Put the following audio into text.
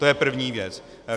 To je první věc.